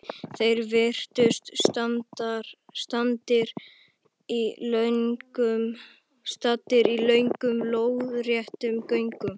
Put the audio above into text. Þeir virtust staddir í löngum, lóðréttum göngum.